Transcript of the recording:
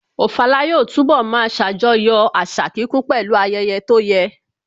Ofala yóò túnbọ̀ máa ṣàjọyọ̀ àṣà kíkún pẹ̀lú ayẹyẹ tó yẹ